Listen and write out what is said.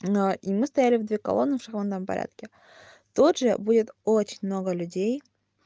а и мы стояли в две колонны в шахматном порядке тут же будет очень много людей